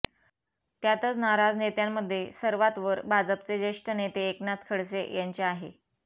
त्यातच नाराज नेत्यांमध्ये सर्वात वर भाजपचे जेष्ठ नेते एकनाथ खडसे यांचे आहे